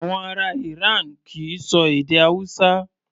Àwọn ará Iran kì í ṣọ èdè Hausa.